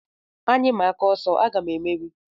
Anyị maa aka ọsọ, aga m emeri